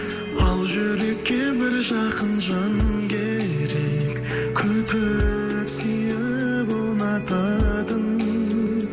ал жүрекке бір жақын жан керек күтіп сүйіп ұнататын